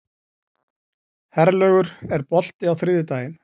Herlaugur, er bolti á þriðjudaginn?